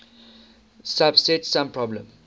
subset sum problem